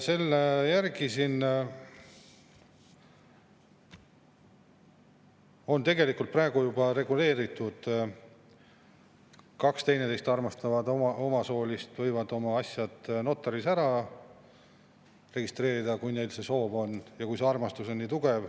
Tegelikult on juba praegu reguleeritud, et kaks teineteist armastavat samasoolist võivad oma asjad notari juures ära registreerida, kui neil see soov on ja kui armastus on nii tugev.